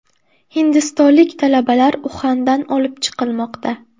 Hindistonlik talabalar Uxandan olib chiqilmoqda.